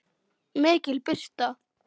MIKIL BIRTA